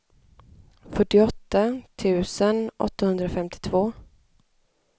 fyrtioåtta tusen åttahundrafemtiotvå